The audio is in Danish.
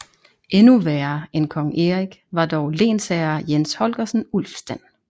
Endnu værre end kong Erik var dog lensherre Jens Holgersen Ulfstand